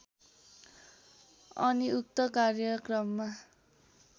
अनि उक्त कार्यक्रममा